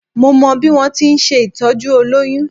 Mo mọ bí wọ́n ti ń ṣe ìtọ́jú olóyún